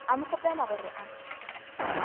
a mo kgopela gore a